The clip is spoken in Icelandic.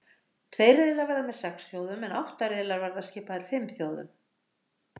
Tveir riðlar verða með sex þjóðum en átta riðlar verða skipaðir fimm þjóðum.